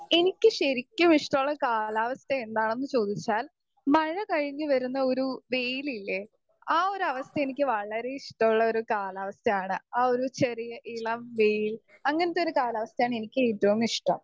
speaker 2 എനിക്ക് ശരിക്കും ഇഷ്ട്ടമുള്ള കാലാവസ്ഥയെന്താണെന്ന് ചോദിച്ചാൽ മഴ കഴിഞ്ഞ് വരുന്ന ഒരു വെയിലില്ലേ ആ ഒരു അവസ്ഥ എനിക്ക് വളരെ ഇഷ്ട്ടളൊരു കാലാവസ്ഥാണ് ആ ഒരു ചെറിയ ഇളം വെയിൽ അങ്ങനത്തൊരു കാലാവസ്ഥാണ് എനിക്ക് ഏറ്റവും ഇഷ്ട്ടം